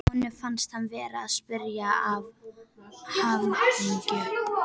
Honum fannst hann vera að springa af hamingju.